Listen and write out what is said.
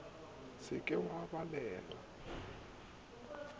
se ke wa ba balela